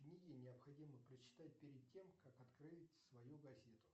книги необходимо прочитать перед тем как открыть свою газету